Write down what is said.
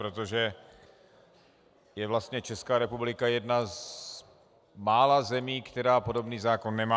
Protože je vlastně Česká republika jedna z mála zemí, která podobný zákon nemá.